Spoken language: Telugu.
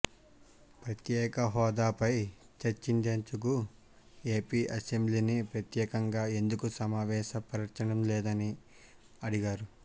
ప్రత్యేకహోదాపై చర్చించేందుకు ఏపీ అసెంబ్లీని ప్రత్యేకంగా ఎందుకు సమావేశపరచటంలేదని అడిగారు